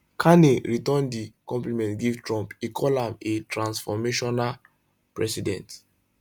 carney return di compliment give trump e call am a transformational president